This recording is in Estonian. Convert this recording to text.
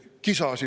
Palun lisaaega.